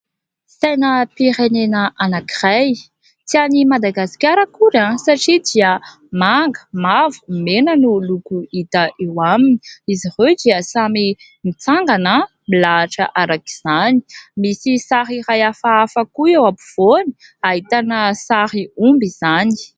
Sainam-pirenena anankiray, tsy any Madagasikara akory satria dia manga, mavo, mena no loko hita eo aminy. Izy ireo dia samy mitsangana, milahatra araka izany. Misy sary iray hafahafa koa eo ampovoany, ahitana sary omby izany.